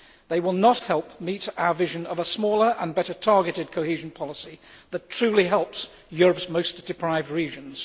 They will not help meet our vision of a smaller and better targeted cohesion policy that truly helps Europe's most deprived regions.